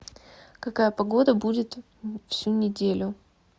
какая погода будет всю неделю